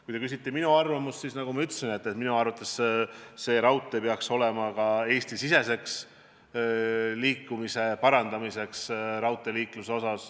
Kui te küsite minu arvamust, siis nagu ma ütlesin, peaks minu arvates see raudtee aitama parandada ka Eesti-sisest raudteeliiklust.